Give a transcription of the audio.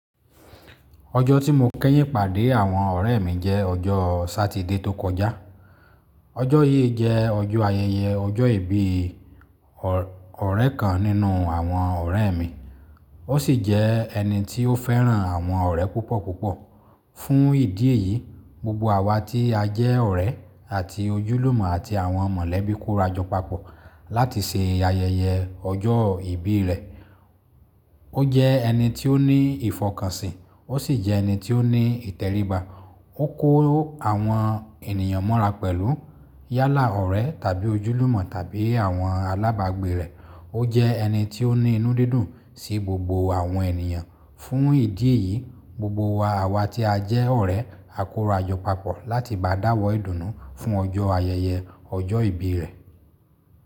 Ọjọ́ tí mo kẹ́yìn pàdé àwọn ọ̀rẹ́ mi jẹ́ ọjọ́ Satide tó kọjá. Ọjọ́ yìí jẹ́ ọjọ́ ayẹyẹ ọjọ́ ìbí ọ̀rẹ́ kan nínú àwọn ọ̀rẹ́ mi. Ó sì jẹ́ ẹni tí ó fẹ́ràn àwọn ọ̀rẹ́ púpọ̀ púpọ̀. Fún ìdí èyí, gbogbo àwa tí a jẹ́ ọ̀rẹ́ àti ojúlùmọ̀ àti àwọn mọ̀lẹ́bí kórajọ papọ̀ láti ṣe ayẹyẹ ọjọ́ ìbí rẹ̀. Ó jẹ́ ẹni tí ó ní ìfọkànsìn, ó sì jẹ́ ẹni tí ó ní ìtẹríba. Ó kó àwọn ènìyàn mọ́ra pẹ̀lú yálà ọ̀rẹ́ tàbí ojúlùmọ̀ tàbí àwọn alábàgbé rẹ̀. Ó jẹ́ ẹni tí ó ní inú dídùn sí gbogbo àwọn ènìyàn. Fún ìdí èyí, gbogbo wa àwa tí a jẹ́ ọ̀rẹ́ a kórajọ papọ̀ láti bá a dáwọ́ ìdùnnú fún ọjọ́ ayẹyẹ ọjọ́ ìbí rẹ̀.